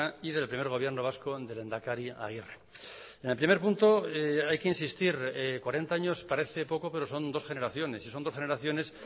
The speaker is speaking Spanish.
y del primer gobierno vasco del lehendakari aguirre en el primer punto hay que insistir cuarenta años parece poco pero son dos generaciones y son dos generaciones